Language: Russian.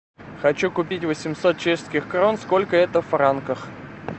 хочу купить восемьсот чешских крон сколько это в франках